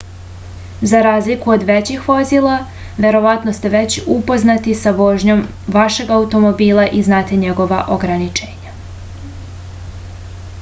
za razliku od većih vozila verovatno ste već upoznati sa vožnjom vašeg automobila i znate njegova ograničenja